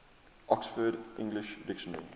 oxford english dictionary